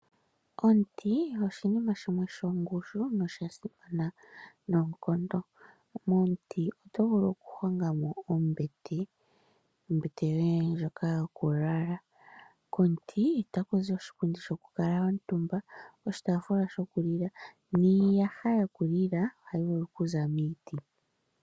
Omuti oshinima shimwe shongushu nosha simana noonkondo. Momuti otovulu oku hongamo ombete yoye ndjoka yokulala. Komuti otakuzi oshipundi shokukuutuma niiyaha yokulila ohayi vulu okuza miiti.